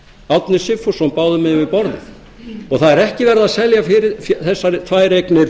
árni sigfússon báðum megin við borðið það er ekki verið að selja þessar tvær eignir